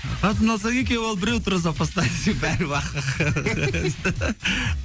қатын алсаң екеу ал біреу тұрады запаста десең бәрі бақырайып қарайды